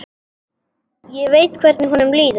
Ég veit hvernig honum líður.